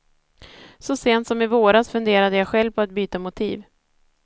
Så sent som i våras funderade jag själv på att byta motiv.